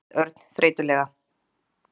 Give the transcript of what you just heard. sagði Örn þreytulega.